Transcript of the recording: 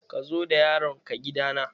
Ka zo da yaron ka gida na!